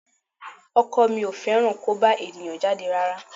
Ọkọ mi ò fẹ́ràn kó bá èèyàn jáde rárá